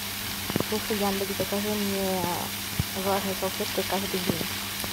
слушай яндекс закажи мне влажные салфетки каждый день